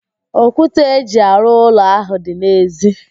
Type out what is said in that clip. Okwute eji arụ ụlọ ahụ dị n'ezi